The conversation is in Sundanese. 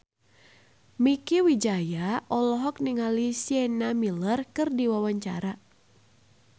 Mieke Wijaya olohok ningali Sienna Miller keur diwawancara